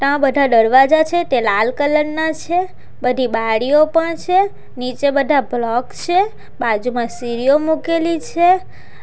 આ બધા દરવાજા છે તે લાલ કલર ના છે બધી બારીઓ પણ છે નીચે બધા બ્લોક છે બાજુમાં સીરીઓ મૂકેલી છે.